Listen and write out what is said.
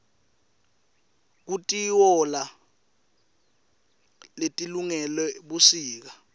kukitoala letilungele busika